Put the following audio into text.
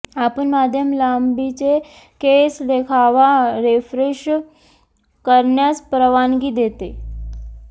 आपण मध्यम लांबीचे केस देखावा रीफ्रेश करण्यास परवानगी देते